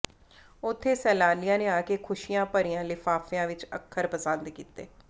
ਉੱਥੇ ਸੈਲਾਨੀਆਂ ਨੇ ਆ ਕੇ ਖੁਸ਼ੀਆਂ ਭਰਿਆ ਲਿਫ਼ਾਫ਼ਿਆਂ ਵਿਚ ਅੱਖਰ ਪਸੰਦ ਕੀਤੇ